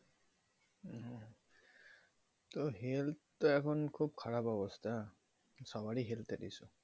তো health তো এখন খুব খারাপ অবস্থা সবার ই health এর issue